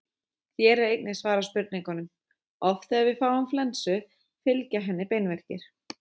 Hér er einnig svarað spurningunum: Oft þegar við fáum flensu fylgja henni beinverkir.